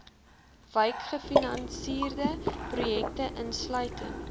wykgefinansierde projekte insluitend